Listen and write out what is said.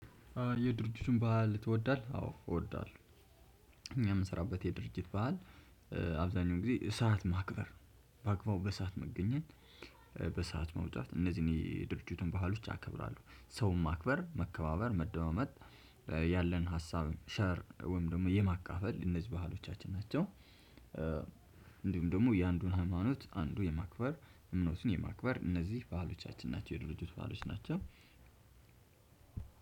የድርጅቱን ባህል ትወዳለህ? አዎ እወዳለሁ። እኛ የምሰራበት የድርጅት ባህል። አብዛሀኛውን ጊዜ ሰዓት ማክበር ባግባቡ በሰአት መገኘት። በሰአት መውጣት እነዚህ የድርጅቱን ባህሎች አከብራለሁ። ሰውን ማክበር መከባበር መደማመጥ ያለን ሀሳብ ሸር ወይም ደግሞ የማካፈል እነዚህ ባህሎቻችን ናቸው። እንዲሁም ደግሞ የአንዱን ሃይማኖት አንዱ የማክበር እምነቱን የማክበር እነዚህ ባህሎቻችን ናቸው። የድርጅቱ ባሎች ናቸው።